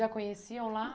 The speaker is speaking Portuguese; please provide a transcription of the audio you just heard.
Já conheciam lá?